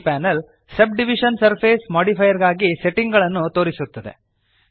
ಈ panel subdivision surface modifier ಗಾಗಿ setting ಗಳನ್ನು ತೋರಿಸುತ್ತದೆ